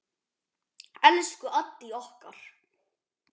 Elsku Addý okkar.